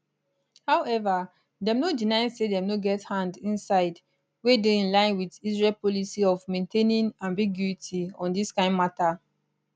however dem no deny say dem no get hand inside wey dey in line wit israel policy of maintaining ambiguity on dis kain mata